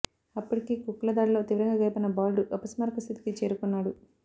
అప్పటికే కుక్కల దాడిలో తీవ్రంగా గాయపడిన బాలుడు అపస్మారక స్థితికి చేరుకున్నాడు